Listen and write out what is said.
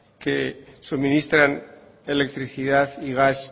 que suministran electricidad y gas